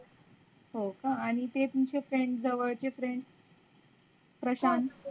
हो का आणी ते तुमचे friend जवड चे friend प्रशांत